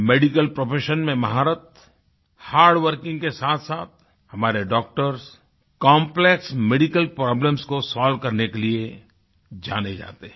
medical profession में महारतhardworking के साथसाथ हमारे डॉक्टर कॉम्प्लेक्स मेडिकल प्रॉब्लम्स को सोल्व करने के लिए जाने जाते हैं